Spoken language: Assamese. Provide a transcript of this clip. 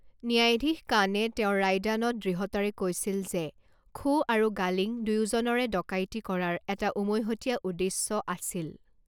ন্যায়াধীশ কানে তেওঁৰ ৰায়দানত দৃঢ়তাৰে কৈছিল যে খো আৰু গালিং দুয়োজনৰে ডকাইতি কৰাৰ এটা উমৈহতীয়া উদ্দেশ্য আছিল।